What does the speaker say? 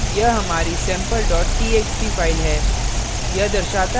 यहाँ हमारी sample txt file है